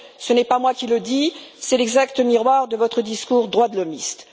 Ce n'est pas moi qui le dis, c'est l'exact miroir de votre discours droit de l'hommiste.